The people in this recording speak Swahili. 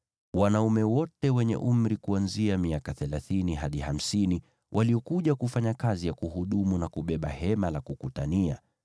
Wanaume wote wenye umri kuanzia miaka thelathini hadi hamsini waliokuja kufanya kazi ya kuhudumu na kubeba Hema la Kukutania